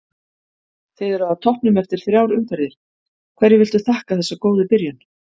Þið eruð á toppnum eftir þrjár umferðir, hverju viltu þakka þessa góðu byrjun?